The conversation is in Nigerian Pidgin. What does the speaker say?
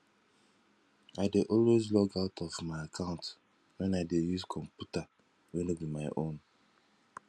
i dey always log out my account when i dey use computer wey no be my own